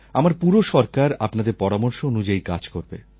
আমার পুরো সরকার আপনাদের পরামর্শ অনুযায়ী কাজ করবে